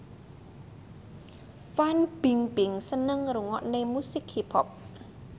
Fan Bingbing seneng ngrungokne musik hip hop